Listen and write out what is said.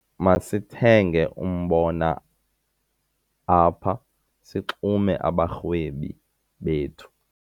Masithenge umbona apha sixume abarhwebi bethu.